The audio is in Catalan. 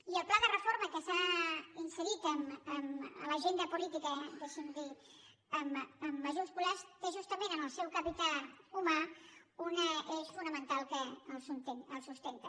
i el pla de reforma que s’ha inserit en l’agenda política deixi’m dir ho amb majúscules té justament en el seu capital humà un eix fonamental que el sustenta